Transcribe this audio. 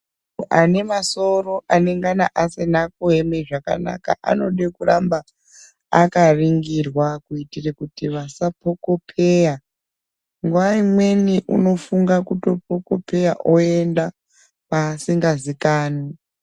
...anemasoro anengana asina kueme zvakanaka anode kuramba akaringirwa kuitire kuti vasapokopeya. Nguva imweni unofunga kupokopeya oenda kwaasingazikanwi.